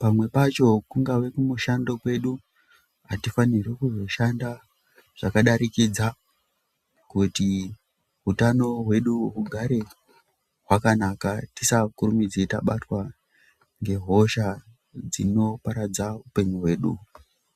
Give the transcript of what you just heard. Pamwe pacho kungave kumushando kwedu hatifanirwi kuzoshanda zvakadarikidza kuti utano hwedu hugare hwakanaka, tisakurumidze tibatwa ngehosha dzinoparadza upenyu hwedu.